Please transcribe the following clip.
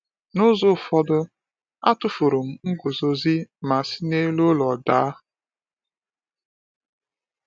N’ụzọ ụfọdụ, a tụfuru m nguzozi ma si n’elu ụlọ daa.